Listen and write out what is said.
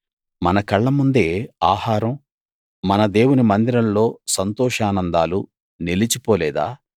మన కళ్ళముందే ఆహారం మన దేవుని మందిరంలో సంతోషానందాలు నిలిచిపోలేదా